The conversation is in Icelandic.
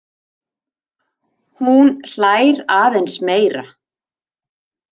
Hún hlær aðeins meira.